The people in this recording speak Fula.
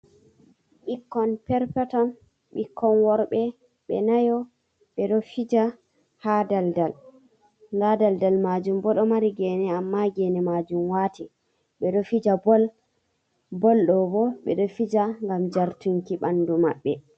Ɓikkon perpeton bikkon worɓe ɓe nayo ɓeɗo fija ha daldal nɗa daldal majum bo ɗo mari gene amma gene majum wati ɓeɗo fija bol bol do ɓeɗo fija ngam jartunki ɓandu maɓɓe.